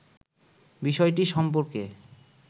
বিষয়টি সম্পর্কে